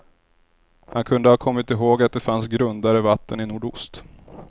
Han kunde ha kommit ihåg att det fanns grundare vatten i nordost.